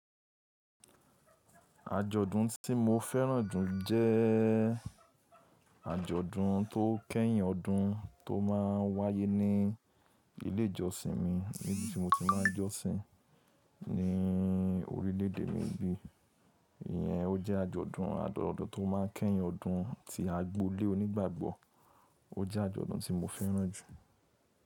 Àjọ̀dún tí mo fẹ́ràn jù jẹ àjọ̀dún tó kẹ́yìn ọdún, tó máa ń wáyé ní ilé ìjọsìn mi níbi tí mo ti máa ń jọ́sìn ní orílè éde mi bí. Iyẹn ó jẹ́ àjọ̀dún àdọ dun tó máa ń kẹ́yìn ọdún tí agbolé onígbàgbọ́. Ó jẹ́ àjọ̀dún tí mo fẹ́ràn jù.